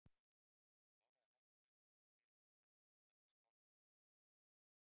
Hún kláraði hafragrautinn og rétti Jóni Ólafi skálina aftur.